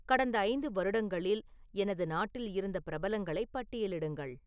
கடந்த ஐந்து வருடங்களில் எனது நாட்டில் இருந்த பிரபலங்களை பட்டியலிடுங்கள்